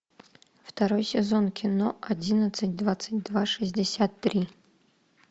второй сезон кино одиннадцать двадцать два шестьдесят три